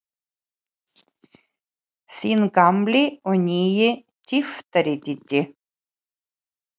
Þinn gamli og nýi tyftari, Diddi.